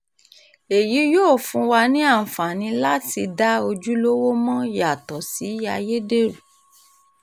èyí yóò fún wa ní àǹfààní láti dá ojúlówó mọ̀ yàtọ̀ sí ayédèrú